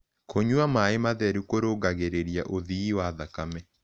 Kũnyua mae matherũ kũrũngagĩrĩrĩa ũthĩĩ wa thakame